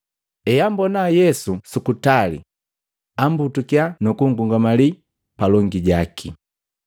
Eambona Yesu su kutali, ambutukiya nukungungamali palongi jaki,